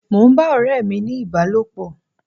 Mò ń bá ọ̀rẹ́ mi ní ìbálòpọ̀.